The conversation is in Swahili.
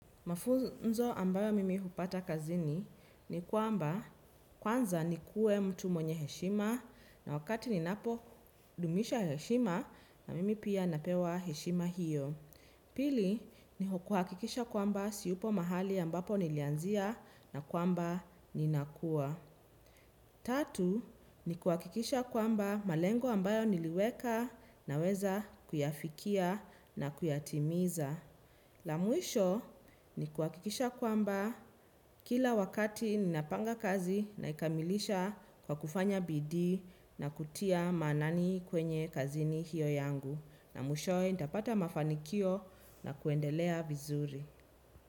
Mafunzo ambayo mimi hupata kazini ni kwamba kwanza ni kuwe mtu mwenye heshima na wakati ninapo dumisha heshima na mimi pia napewa heshima hiyo. Pili ni kuhakikisha kwamba sipo mahali ambapo nilianzia na kwamba ninakuwa. Tatu ni kuhakikisha kwamba malengo ambayo niliweka naweza kuyafikia na kuyatimiza. La mwisho ni kuhakikisha kwamba kila wakati ninapanga kazi naikamilisha kwa kufanya bidii na kutia maanani kwenye kazini hiyo yangu. Na mwishoe nitapata mafanikio na kuendelea vizuri.